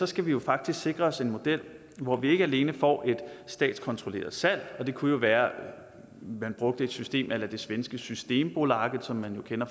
skal vi jo faktisk sikre os en model hvor vi ikke alene får et statskontrolleret salg og det kunne jo være at man brugte et system a la det svenske systembolaget som man jo kender